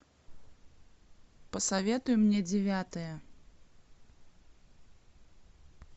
посоветуй мне девятое